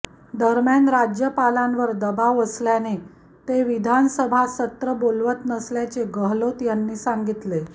दरम्यान राज्यपालांवर दबाव असल्याने ते विधानसभा सत्र बोलवत नसल्याचे गहलोत यांनी सांगितले